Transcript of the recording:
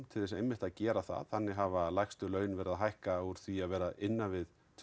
til þess að gera það þannig hafa lægstu laun verið að hækka úr því að vera innan við tvö